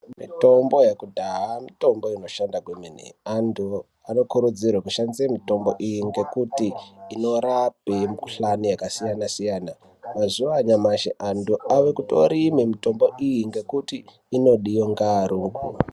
Mitombo yekudhaha mitombo inoshanda kwemene. Antu anokurudzirwa kushandise mitombo iyi ngekuti inorape mikuhlani yakasiyana-siyana. Mazuwa anyamashi antu avekutorime mitombo iyi ngekuti inodiwe ngearungu.